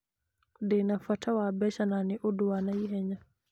Ndĩ na bata wa mbeca, na nĩ ũndũ wa ihenya.